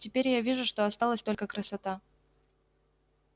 теперь я вижу что осталась только красота